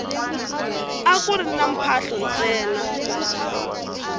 akuri ni mphahlo ntsena